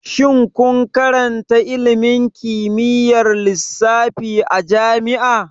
Shin kun karanta ilimin kimiyyar lissafi a jami'a?